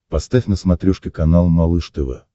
поставь на смотрешке канал малыш тв